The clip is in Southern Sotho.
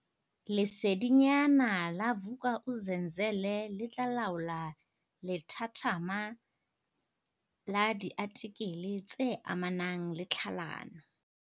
Lesedinyana la Vuk'uzenzele le tla laola lethathama la diatikele tse amanang le tlhalano.